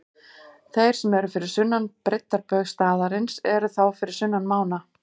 Þeir sem eru fyrir sunnan breiddarbaug staðarins eru þá fyrir sunnan mána.